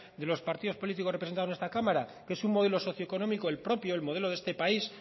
de los partidos políticos representados en esta cámara que es un modelo socio económico el propio el modelo de este país